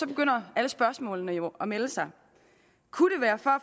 begynder alle spørgsmålene jo at melde sig kunne det være for